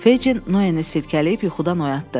Feycin Noeni silkələyib yuxudan oyatdı.